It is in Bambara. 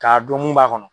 K'a don mun b'a kɔnɔ